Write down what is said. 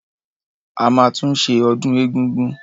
A máa tún ṣe ọdún egúngún.